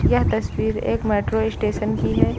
यह तस्वीर एक मेट्रो स्टेशन की है।